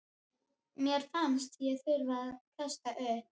Mér fannst ég þurfa að kasta upp.